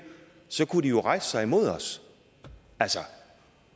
kunne de jo rejse sig imod os altså